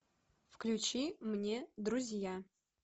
включи мне друзья